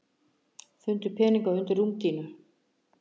Fundu peninga undir rúmdýnu